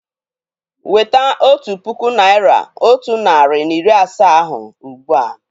Weta otu puku naị́ra otu narị na iri asaa ahụ ugbu a!